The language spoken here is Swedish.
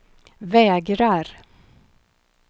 vägrar